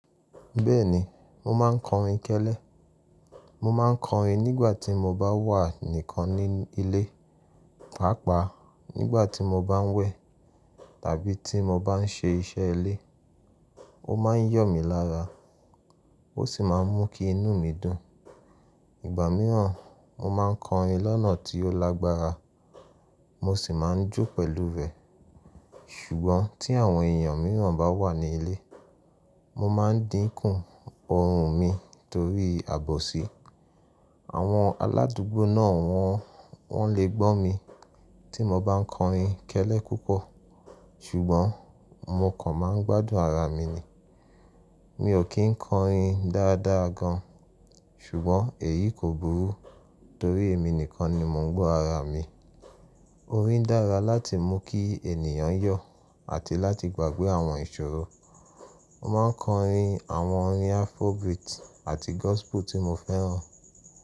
Bẹ́ẹ̀ni, mo máa ń kọrin kẹ́lẹ́. Mo máa ń kọrin nígbà tí mo bá wà nìkan ní ilé, pàápàá nígbà tí mo bá ń wẹ̀ tàbí tí mo bá ń ṣe iṣẹ́ ilé. Ó máa ń yọ̀ mí lára, ó sì máa ń mú kí inú mi dùn. Ìgbà mìíràn, mo máa ń kọrin lọ́nà tí ó lágbára, mo sì máa ń jó pẹ̀lú rẹ̀. Ṣùgbọ́n tí àwọn èèyàn mìíràn bá wà ní ilé, mo máa ń dínkù ọhùn mi torí àbòsí. Àwọn aládùúgbò náà wọn, wọn lè gbọ́ mi tí mo bá ń kọrin kẹ́lẹ́ púpọ̀. Ṣùgbọ́n mo kàn máa ń gbádùn ara mi ni. Mi ò kí ń kọrin dáadáa gan, ṣùgbọ́n èyí kò burú torí èmi nìkan ni mo ń gbọ́ ara mi. Orin dára láti mú kí ènìyàn yọ̀ àti láti gbàgbé àwọn ìṣòro. Mo máa ń kọrin àwọn orin Afrobeat àti gospel tí mo fẹ́ràn.